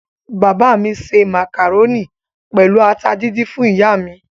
Bàbá mi se màkàrónì pẹ̀lú ata díndín fún ìyá mi.